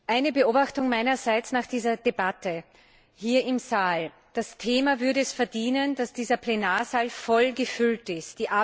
Eine Beobachtung meinerseits nach dieser Debatte hier im Saal. Das Thema würde es verdienen, dass dieser Plenarsaal voll gefüllt ist.